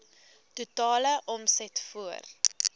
totale omset voor